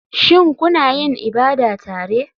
Shin kuna yin ibada tare?